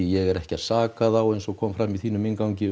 ég er ekki að saka þá eins og kom fram í þínum inngangi